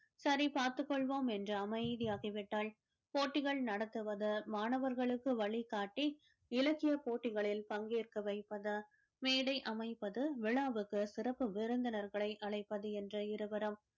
சரி பார்த்துக் கொள்வோம் என்று அமைதியாகி விட்டால் போட்டிகள் நடத்துவது மாணவர்களுக்கு வழிகாட்டி இலக்கியப் போட்டிகளில் பங்கேற்க வைப்பது மேடை அமைப்பது விழாவுக்கு சிறப்பு விருந்தினர்களை அழைப்பது என்ற இருவரும்